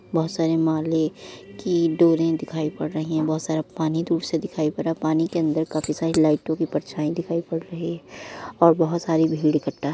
बहुत सारे माले की डोरें दिखाईं पड़ रहीं हैं। बहुत सारा पानी दूर से दिखाई पड़ रहा है। पानी के अंदर काफी सारी लाइटों की परछाई दिखाई पड़ रही है और बहुत सारी भीड़ इकट्ठा --